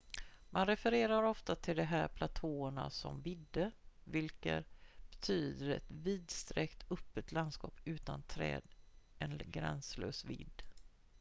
"man refererar ofta till de här platåerna som "vidde" vilket betyder ett vidsträckt öppet landskap utan träd en gränslös vidd.